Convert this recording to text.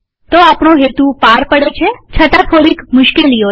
તે આપણો હેતુ પાર પાડે છે છતાં થોડીક મુશ્કેલીઓ છે